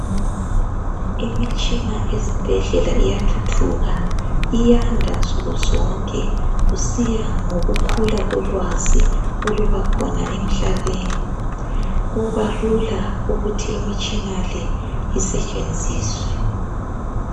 Imitshina ezibhedlela iyathuthuka iyanda nsukuzonke kusiya ngokukhula kolwazi oluba khona emhlabeni kuba lula ukuthi imitshina le isetshenziswe.